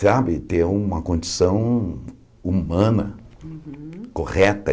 Sabe, ter uma condição humana, correta.